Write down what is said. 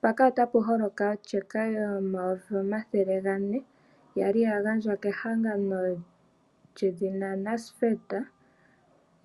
Mpaka otapu holoka otyeka yomayovi omathele gane yali ya gandjwa kehangano lyedhina NSFED